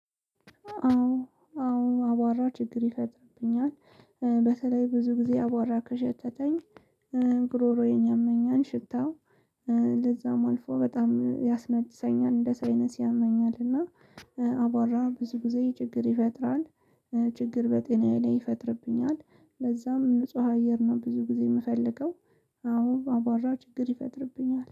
አዎ አዎ አቧራ ችግር ይፈጥርብኛል። በተለይ ብዙ ጊዜ አቧራ ከሸተተኝ ጉሮሮዬን ያመኛል። ሽታው ለዛም አልፎ በጣም ያስነጥሰኛል እንደ ሳይነስ ያመኛል። እና አቧራ ብዙ ጊዜ ችግር ይፈጥራል። ችግር በጤናዬ ላይ ይፈጥርብኛል። ለዛም ንጹህ አየር ነው ብዙ ጊዜ የምፈልገው። አዎ አቧራ ችግር ይፈጥርብኛል